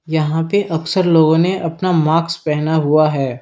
यहां पे अक्सर लोगों ने अपना माक्स पहना हुआ है।